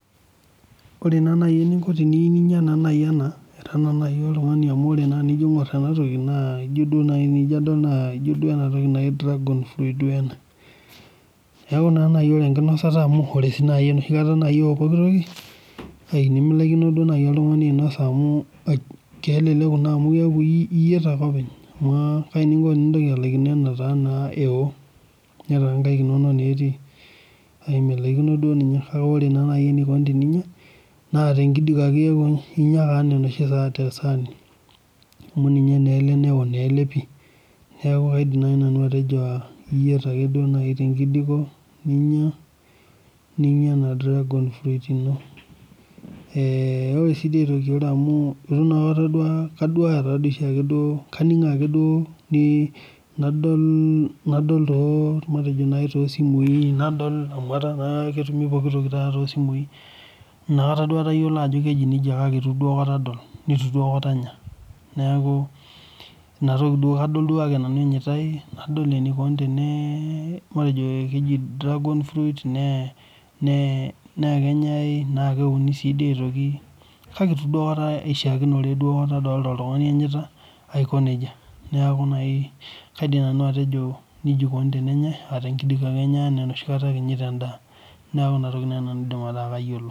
Ore naa naaji eninko tiniyieu naaji ninya ena ira naa naji oltungani amu tinijo aingor ena toki naa tinijo naaji aingor naa enatoki naaji dragon fruit ena .Neeku duo ore enkinosata amu ore sii enoshi kata eo pooki toki ,nimilaikino naaji oltungani ainosa amu keleleku naa amu keeku iyiet ake openy. Amu kaji naa inko tenintoki alaikino enao netaa naa nkaik inonok etii, milaikino duo ninye ,kake ore naa enikoni teninya ,naa tenkijiko ake inya enaa onoshi tesaani amu ninye naa ele neo naa pi. Naa keidim naaji nanu atejo iyiet naaji ake tenkijiko ninya ena dragon fruit ino. Ore naa amu kaningoo oshiake nadol toosimui nadol amu eta naa ketumito pookitoki tosimui inakata duo atayiolo ajo keji nejia kake eitu aikata adol neitu aikata anya. Neeku kadol duake nanu eneyitae ,nadol ajo keji dragon fruit naa keuni sidii aitoki ,kake eitu duo aikata aishaakinore oltungani enyita. Neeku naaji kaidim nanu atejo nejia eikoni tenenyae tenkijiko ake enyae enaa enoshi kata inyita endaa. Neeku inatoki naaji nanu aidim ataasa kayiolo.